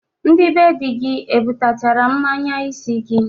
Ndị be di gi ebutachara mmanya isi gi?